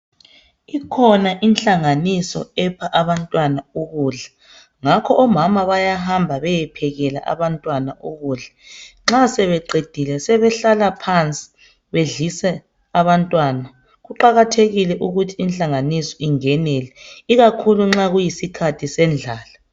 Ikhona inhlanganiso epha abantu ukudla ngakho omama bayahamba beyephekela abantu ukudla. Nxa sebeqedile sebehlala phansi bedlise abantwana, kuqakathekile ukuthi inhlanganiso ingenrle ikakhulu nxa kuyisikhathi sendlala.